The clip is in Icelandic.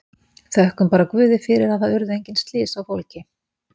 Þökkum bara Guði fyrir að það urðu engin slys á fólki.